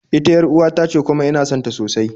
Ita yar'uwa tace kuma ina sonta sosai